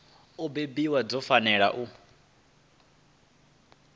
u bebwa dzi fanela u